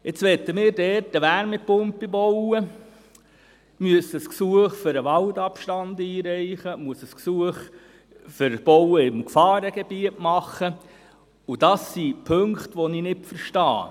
Jetzt möchten wir dort eine Wärmepumpe bauen, müssen ein Gesuch für den Waldabstand einreichen, müssen ein Gesuch für das Bauen im Gefahrengebiet stellen, und das sind Punkte, die ich nicht verstehe.